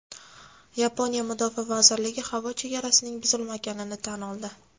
Yaponiya mudofaa vazirligi havo chegarasining buzilmaganini tan oldi.